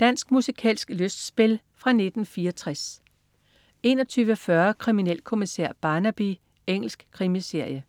Dansk musikalsk lystspil fra 1964 21.40 Kriminalkommissær Barnaby. Engelsk krimiserie